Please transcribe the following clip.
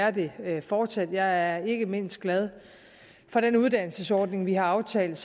og det vil der fortsat være jeg er ikke mindst glad for den uddannelsesordning vi har aftalt